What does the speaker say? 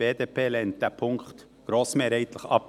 Die BDP lehnt diesen Punkt grossmehrheitlich ab.